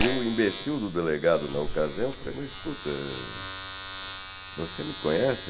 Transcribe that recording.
E o imbecil do delegado, na ocasião, falou assim, escuta, você me conhece?